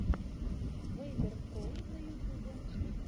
вэйдер про на ютьюбе